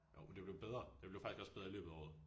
Jo men det blev bedre. Det blev faktisk også bedre i løbet af året